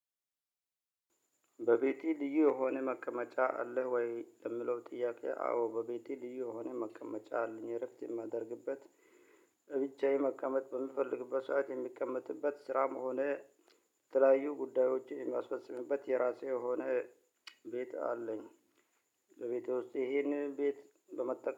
በቤቴ ልዩ የሆነ መቀመጫ አለህ ወይ? ለምለው ጥያቄ አዎ በቤቴ ልዩ የሆነ መቀመጫ አለኝ። እረፍት የማደርግበት ብቻዬን መቀመጥ በምፈልግበት ሰዓት የሚቀመጥበት ስራም ሆነ የተለያዩ ጉዳዮችን የሚያስፈጽምበት የራሴ የሆነ ቤት አለኝ። ለቤቴ ውስጥ ይሄን ቤት በመጠቀም